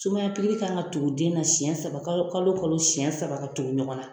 Sumaya kan ka tugu den na siɲɛ saba kalo wo kalo kalo siɲɛ saba ka tugu ɲɔgɔn na.